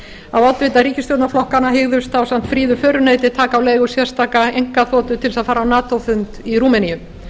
að oddvitar ríkisstjórnarflokkanna hygðust ásamt fríðu föruneyti taka á leigu sérstaka einkaþotu til þess að fara á gat fund í rúmeníu